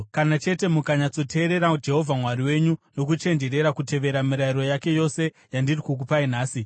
kana chete mukanyatsoteerera Jehovha Mwari wenyu nokuchenjerera kutevera mirayiro yake yose yandiri kukupai nhasi.